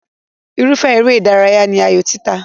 Irúfẹ́ eré ìdárayá ní ayò títa.